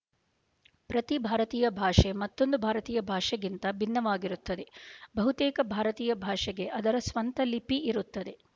ಪ್ರತಿ ಭಾರತೀಯ ಭಾಷೆ ಮತ್ತೊಂದು ಭಾರತೀಯ ಭಾಷೆಗಿಂತ ಭಿನ್ನವಾಗಿರುತ್ತದೆ ಬಹುತೇಕ ಭಾರತೀಯ ಭಾಷೆಗೆ ಅದರ ಸ್ವಂತ ಲಿಪಿ ಇರುತ್ತದೆ